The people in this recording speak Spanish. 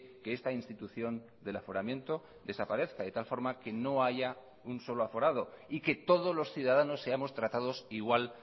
que esta institución del aforamiento desaparezca de tal forma que no haya un solo aforado y que todos los ciudadanos seamos tratados igual